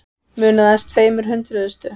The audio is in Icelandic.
Munaði aðeins tveimur hundruðustu